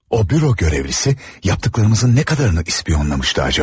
O büro görəvliyi, yapdıqlarımızın nə qədərini ispiyonlamışdı acaba?